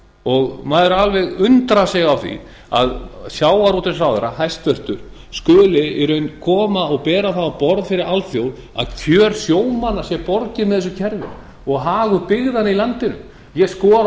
íslandi maður alveg undrar sig á því að sjávarútvegsráðherra hæstvirtur skulu í raun koma og bera það á borð fyrir alþjóð að kjörum sjómanna sé borgið með þessu kerfi og hagur byggðanna í landinu ég skora á